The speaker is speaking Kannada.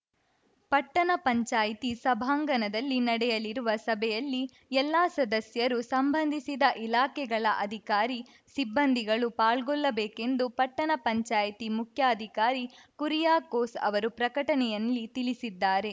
ಪಟ್ಟಣ ಪಂಚಾಯ್ತಿ ಸಭಾಂಗಣದಲ್ಲಿ ನಡೆಯಲಿರುವ ಸಭೆಯಲ್ಲಿ ಎಲ್ಲ ಸದಸ್ಯರು ಸಂಬಂಧಿಸಿದ ಇಲಾಖೆಗಳ ಅಧಿಕಾರಿ ಸಿಬ್ಬಂದಿಗಳು ಪಾಲ್ಗೊಳ್ಳಬೇಕೆಂದು ಪಟ್ಟಣ ಪಂಚಾಯ್ತಿ ಮುಖ್ಯಾಧಿಕಾರಿ ಕುರಿಯಾಕೋಸ್‌ ಅವರು ಪ್ರಕಟಣೆಯಲ್ಲಿ ತಿಳಿಸಿದ್ದಾರೆ